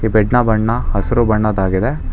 Bed ನ ಬಣ್ಣ ಹಸಿರು ಬಣ್ಣದಾಗಿದೆ.